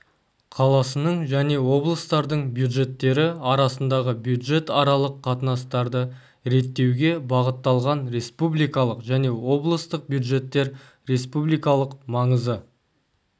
қаласының және облыстардың бюджеттері арасындағы бюджетаралық қатынастарды реттеуге бағытталған республикалық және облыстық бюджеттер республикалық маңызы